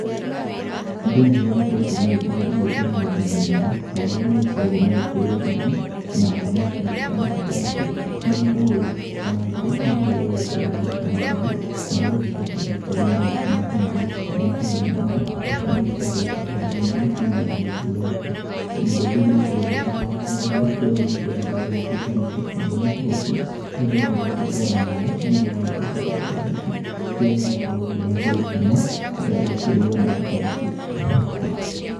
Andũ nĩ magĩkoretwo makĩrĩa irio cia mĩthemba mĩthemba, ta ũrĩa magĩkoragwo magĩkĩrĩa ngima na thamaki, thamaka ta ici nĩ ikoragwo ĩgĩkarangwo nĩ getha igagĩkorwo igĩcama wega na ĩgagĩcoka ĩgakĩrĩo na ngima ta ĩno. Ngima ta ĩno nayo, nĩ ĩgĩkoragwo ĩkĩharĩrĩirio kũmana na mũtũ ũrĩa mbembe iria igĩkoragwo itwarĩtwo gĩthĩi, igagĩthiĩ igagĩthio igagĩtuĩka mũtu, naguo mũtu ucio ũgacoka ũgakĩrugwoo na maaĩ, nĩ getha ũgagĩtuĩka kĩndu ta gĩkĩ, kĩrĩa gĩgĩkoragwo gĩgĩĩtwo ngima, nĩ getha gĩgakĩrĩo na indo ta ici.